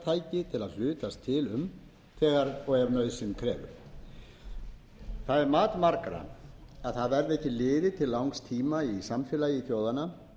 til um þegar og ef nauðsyn krefur það er mat margra að það verði ekki liðið til langs tíma í samfélagi þjóðanna